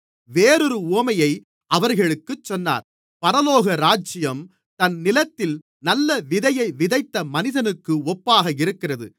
வேறொரு உவமையை அவர்களுக்குச் சொன்னார் பரலோகராஜ்யம் தன் நிலத்தில் நல்ல விதையை விதைத்த மனிதனுக்கு ஒப்பாக இருக்கிறது